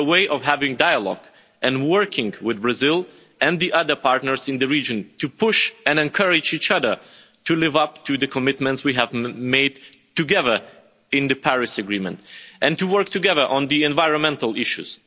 It is a way of having dialogue and working with Brazil and the other partners in the region to push and encourage each other to live up to the commitments we have made together in the Paris Agreement and to work together on the environmental issues.